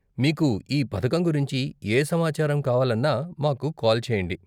మీకు ఈ పథకం గురించి ఏ సమాచారం కావాలన్నా మాకు కాల్ చేయండి.